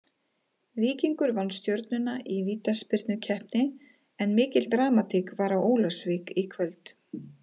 Víkingur vann Stjörnuna í vítaspyrnukeppni en mikil dramatík var á Ólafsvík í kvöld.